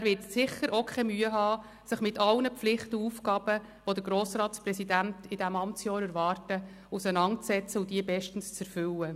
Er wird sicherlich auch keine Mühe haben, sich mit allen Pflichten und Aufgaben, die den Grossratspräsidenten in seinem Amtsjahr erwarten, auseinanderzusetzen und diese bestens zu erfüllen.